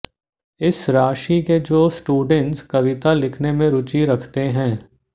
इस राशि के जो स्टूडेंट्स कविता लिखने में रुचि रखते है